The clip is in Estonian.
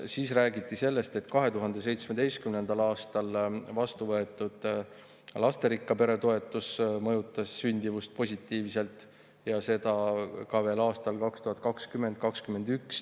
Siis räägiti sellest, et 2017. aastal vastu võetud lasterikka pere toetus mõjutas sündimust positiivselt, ja seda ka veel aastail 2020 ja 2021.